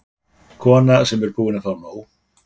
kona sem er búin að fá nóg.